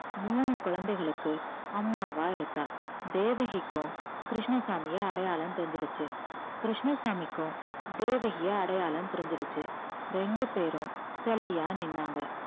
மூணு குழந்தைகளுக்கு அம்மாவா இருக்கா தேவகிக்கும் கிருஷ்ணசாமியை அடையாளம் தெரிஞ்சிடுச்சு கிருஷ்ணசாமிக்கும் தேவகியை அடையாளம் தெரிஞ்சிடுச்சு ரெண்டு பேரும் சிலையா நின்னாங்க